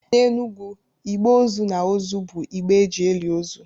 N’Enugwu, igbe ozu na ozu bụ igbe e ji eli ozu